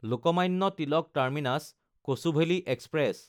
Lokmanya Tilak Terminus Kochuveli express